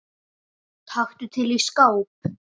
Taktu til í skáp.